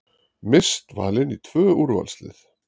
Mist valin í tvö úrvalslið